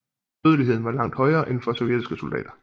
Dødeligheden var langt højere end for sovjetiske soldater